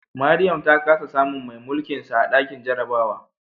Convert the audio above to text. Mariam ta kasa samun mai mulkinsa a dakin jarabawa